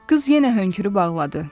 Qız yenə hönkürüb ağladı.